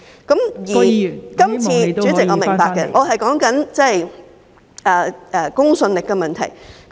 代理主席，我明白，我正在說公信力的問題。